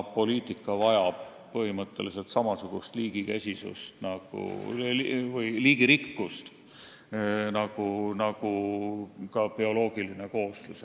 Poliitika vajab põhimõtteliselt samasugust liigirikkust nagu bioloogiline kooslus.